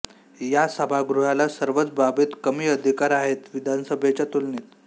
या सभागृहाला सर्वच बाबीत कमी अधिकार आहेत विधानसभेच्या तुलनेत